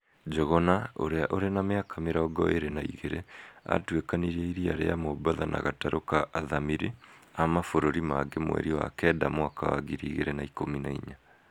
Njuguna, ũrĩa ũrĩ na mĩaka mĩrongo ĩrĩ na igĩrĩ, aatuĩkanĩirie iria rĩa Mobatha na gatarũ ka athamĩri a mabũrũri mangĩ mweri wa kenda mwaka wa ngiri igĩrĩ na ikũmi na inya.